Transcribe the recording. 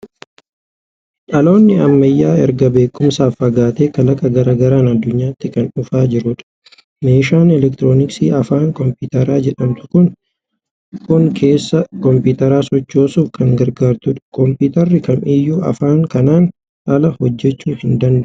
Dhaloonni ammayyaa erga beekumsaan fagaatee kalaqa garaa garaan addunyaatti kan dhufaa jirudha. Meeshaan elektirooniksii afaan Kompiitaraa jedhamtu kun keessa kompiitaraa sochoosuuf kan gargaartudha. Kompiitarri kam iyyuu afaan kanaan ala hojjechuu hin danda'u!